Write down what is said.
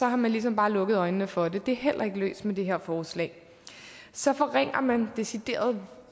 har man ligesom bare lukket øjnene for det det er heller ikke løst med det her forslag så forringer man decideret